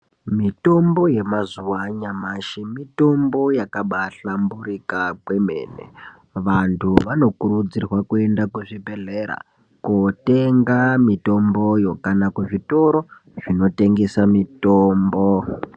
Mitombo yamazuwa anyamashi mitombo yakabaahlamburika kwemene. Vanhu anokurudzirwa kuenda kuzvibhedhlera kootenga mitomboyo kana kuzvitoro zvinotengese mitombo.